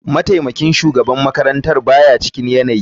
Mataimakin shugaban makarantar ba ya cikin yanayi.